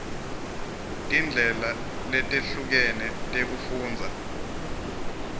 tindlela letehlukene tekufundza